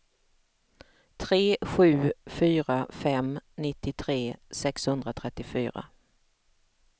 tre sju fyra fem nittiotre sexhundratrettiofyra